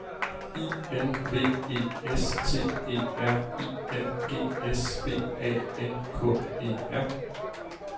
I N V E S T E R I N G S B A N K E R